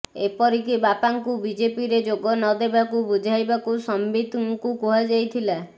ଏପରିକି ବାପାଙ୍କୁ ବିଜେପିରେ ଯୋଗ ନ ଦେବାକୁ ବୁଝାଇବାକୁ ସମ୍ବିତଙ୍କୁ କୁହାଯାଇଥିଲା